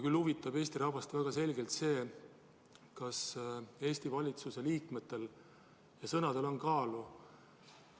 Küll huvitab Eesti rahvast väga selgelt see, kas Eesti valitsuse liikmete sõnadel on kaalu.